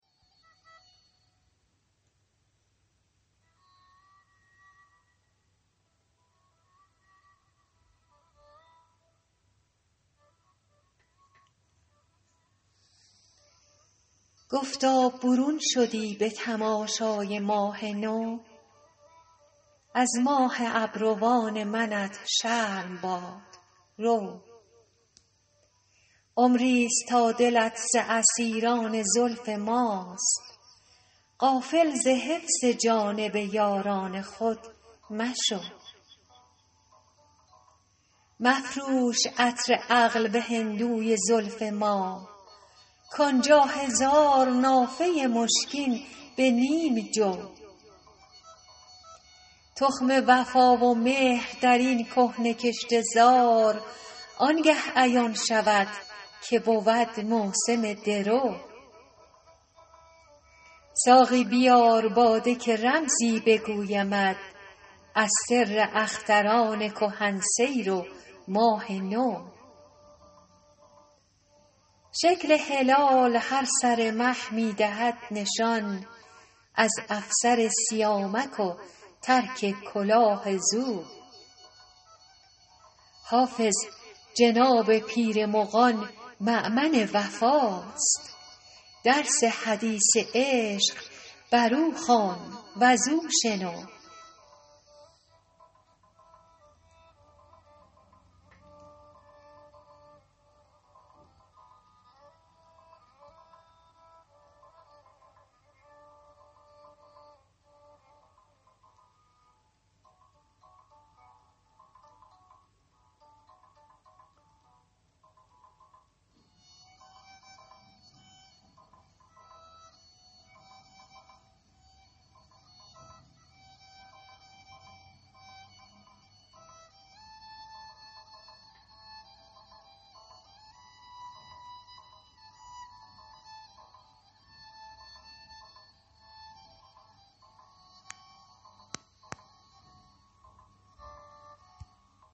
گفتا برون شدی به تماشای ماه نو از ماه ابروان منت شرم باد رو عمری ست تا دلت ز اسیران زلف ماست غافل ز حفظ جانب یاران خود مشو مفروش عطر عقل به هندوی زلف ما کان جا هزار نافه مشکین به نیم جو تخم وفا و مهر در این کهنه کشته زار آن گه عیان شود که بود موسم درو ساقی بیار باده که رمزی بگویمت از سر اختران کهن سیر و ماه نو شکل هلال هر سر مه می دهد نشان از افسر سیامک و ترک کلاه زو حافظ جناب پیر مغان مأمن وفاست درس حدیث عشق بر او خوان و زو شنو